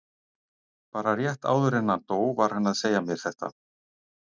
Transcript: Bara rétt áður en hann dó var hann að segja mér þetta.